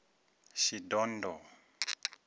shidondho